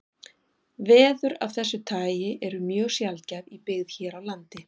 Veður af þessu tagi eru mjög sjaldgæf í byggð hér á landi.